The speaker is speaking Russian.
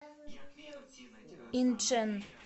инчэн